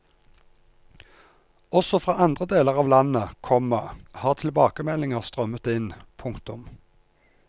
Også fra andre deler av landet, komma har tilbakemeldinger strømmet inn. punktum